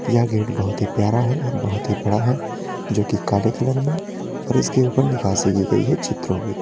यह गेट बहुत ही प्यारा है और बहुत ही बड़ा है जो कि काला कलर में और इसके ऊपर निकासी की गई है चित्रों की।